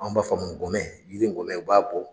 Anw b'a fɔ o ma ngɔmɛ yiri ngɔmɛ u b'a bɔ.